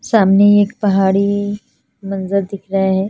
सामने एक पहाड़ी मंज़र दिख रहे है।